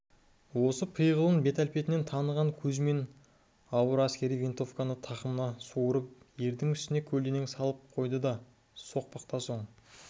осы пиғылын бет-әлпетінен таныған кузьмин ауыр әскери винтовканы тақымынан суырып ердің үстіне көлденең салып қойды да соқпақта соң